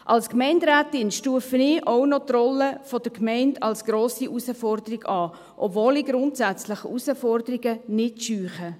Als Gemeinderätin stufe ich auch die Rolle der Gemeinde als grosse Herausforderung ein, obwohl ich grundsätzlich Herausforderungen nicht scheue.